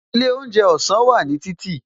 Ilé oúnjẹ ọ̀sán wà ní títì